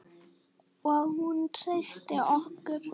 Og hún treysti okkur.